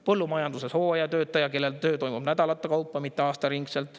Põllumajanduses hooajatöötaja, kellel töö toimub nädalate kaupa, mitte aastaringselt.